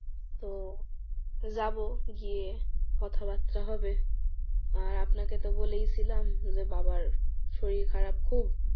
তো যাবো গিয়ে কথাবার্তা হবে। আর আপনাকে তো বলেই ছিলাম যে বাবার শরীর খারাপ খুব।